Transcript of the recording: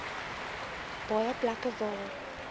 baie plekke waar